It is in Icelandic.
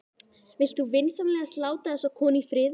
Vilt þú vinsamlegast láta þessa konu í friði!